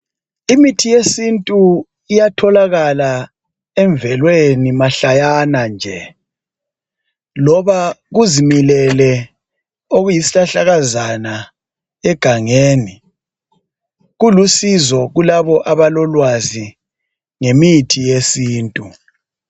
Imithi yesintu iyatholakala emvelweni mahlayana nje loba kuzimilele okuyi sihlahlakazana egangeni kulusizo kulabo abalolwazi ngemithi yesintu.